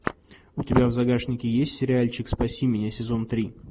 у тебя в загашнике есть сериальчик спаси меня сезон три